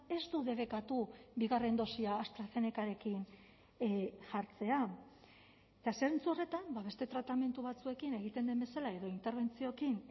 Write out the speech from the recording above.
ez du debekatu bigarren dosia astrazenecarekin jartzea eta zentzu horretan beste tratamendu batzuekin egiten den bezala edo interbentzioekin